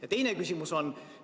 Ja teine küsimus on järgmine.